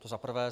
To za prvé.